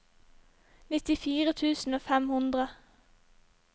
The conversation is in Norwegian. nittifire tusen og fem hundre